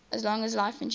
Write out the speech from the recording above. as long as life endures